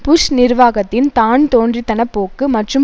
push நிர்வாகத்தின் தான் தோன்றித்தன போக்கு மற்றும்